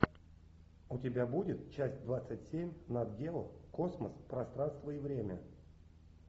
у тебя будет часть двадцать семь нат гео космос пространство и время